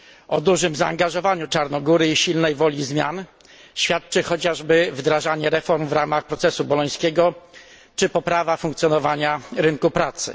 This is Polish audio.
O dużym zaangażowaniu Czarnogóry i silnej woli zmian świadczy chociażby wdrażanie reform w ramach procesu bolońskiego, czy poprawa funkcjonowania rynku pracy.